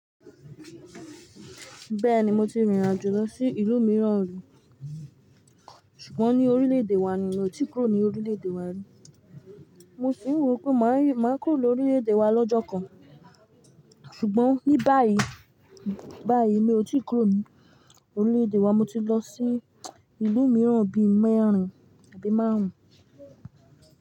Bẹ́ẹ̀ni mo ti rìnrìn àjò lọ sí ìlú mìíràn rí, ṣùgbọ́n ní orílẹ̀èdè wa ni, mi ò tí ì kúrò ní orílẹ̀èdè wa rí. Mo sì wò pé màá kúrò ní orílẹ̀èdè wa lọ́jọ́ kan. Ṣùgbọ́n ní báyìí, báyìí mi ò tí ì kúrò ní orílẹ̀èdè wa, mo ti lọ sí ìlú mìíràn bí i mẹ́rin àbí márùn ún.